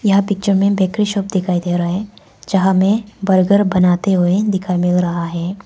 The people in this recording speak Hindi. यह पिक्चर में बेकरी शॉप दिखाई दे रहा है जहां में बर्गर बनाते हुए दिखाएं मिल रहा है।